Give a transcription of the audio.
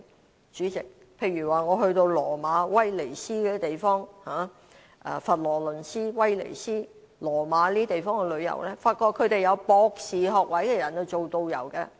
代理主席，我去羅馬、威尼斯和佛羅倫斯等地旅遊時，發覺他們由具有博士學位的人來當導遊。